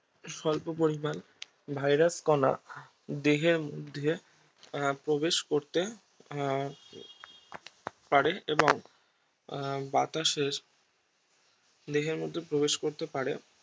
স্বল্প পরিমান ভাইরাস কণা দেহের মধ্যে প্রবেশ করতে আহ পারে এবং আহ বাতাসের দেহের মধ্যে প্রবেশ করতে পারে